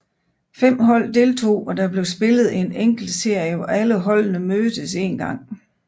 Fem hold deltog og der blev spillet en enkeltserie hvor alle holdene mødtes en gang